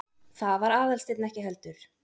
Það var Aðalsteinn ekki heldur.